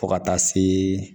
Fo ka taa se